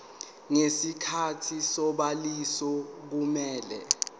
ngesikhathi sobhaliso kumele